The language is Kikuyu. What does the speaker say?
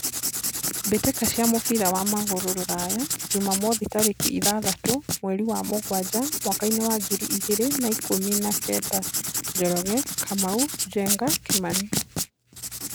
Mbĩtĩka cia mũbira wa magũrũ Ruraya Jumamwothi tarĩki ithathatũ mweri wa mũgwanja mwakainĩ wa ngiri igĩrĩ na ikũmi na kenda:Njoroge, Kamau, Njenga, Kimani.